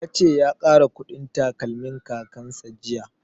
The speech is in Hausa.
Ya ce ya ƙara ƙudin takalmin kakan sa jiya